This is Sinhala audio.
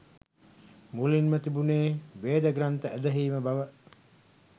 මුලින්ම තිබුණේ වේදග්‍රන්ථ ඇදහීම බව.